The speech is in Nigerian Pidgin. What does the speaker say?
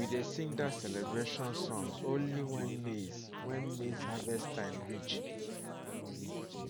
we dey sing that celebration song only when maize when maize harvest time reach